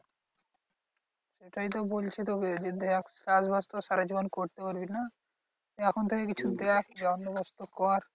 সেটাই তো বলছি তোকে যে, দেখ চাষ বাস তো সারাজীবন করতে পারবি না? তাই এখন থেকে কিছু দেখ বন্দোবস্ত কর।